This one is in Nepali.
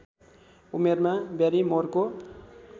उमेरमा ब्यारिमोरको